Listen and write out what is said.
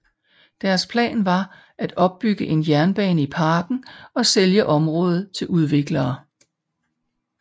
Deres plan var at bygge en jernbane i parken og sælge området til udviklere